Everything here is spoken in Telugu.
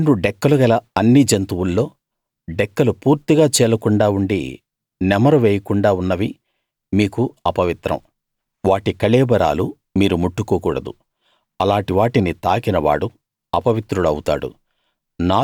రెండు డెక్కలు గల అన్ని జంతువుల్లో డెక్కలు పూర్తిగా చీలకుండా ఉండి నెమరు వేయకుండా ఉన్నవి మీకు అపవిత్రం వాటి కళేబరాలు మీరు ముట్టుకోకూడదు అలాటి వాటిని తాకిన వాడు అపవిత్రుడు అవుతాడు